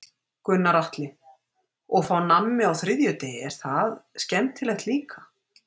Gunnar Atli: Og fá nammi á þriðjudegi, er það skemmtilegt líka?